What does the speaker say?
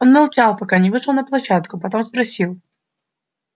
он молчал пока не вышел на площадку потом спросил